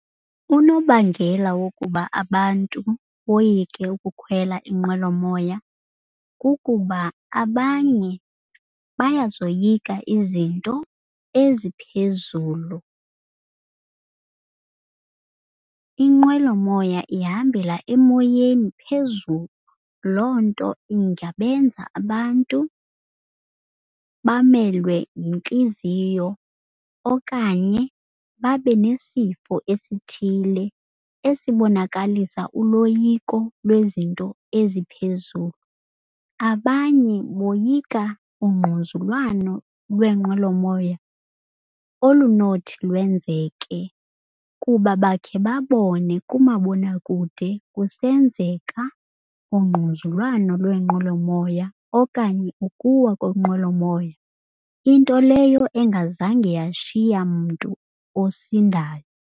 Unobangela wokuba abantu boyike ukukhwela inqwelomoya, kukuba abanye bayazoyika izinto eziphezulu. Inqwelomoya ihambela emoyeni phezulu, loo nto ingabenza abantu bamelwe yintliziyo okanye babe nesifo esithile esibonakalisa uloyiko lwezinto eziphezulu. Abanye boyika ungquzulwano lweenqwelo moya olunothi lwenzeke kuba bakhe babone kumabonakude kusenzeka ungquzulwano lweenqwelomoya okanye ukuwa kwenqwelomoya. Into leyo engazange yashiya mntu osindayo.